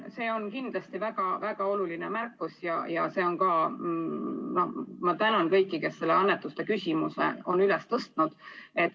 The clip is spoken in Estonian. See on kindlasti väga oluline märkus ja ma tänan kõiki, kes annetuste küsimuse on üles tõstnud.